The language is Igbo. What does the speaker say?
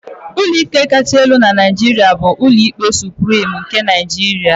Ụlọikpe kacha elu na Naijiria bụ Ụlọikpe Suprim nke Nigeria.